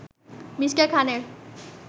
Me. খানের